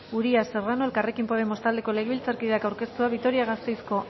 uria serrano elkarrekin podemos taldeko legebiltzarkideak aurkeztua vitoria gasteizko